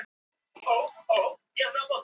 Hann var ekki ábyrgur.